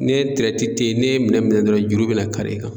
Ne tirɛti te ye ne minɛn minɛ dɔrɔn juru bena kari i kan na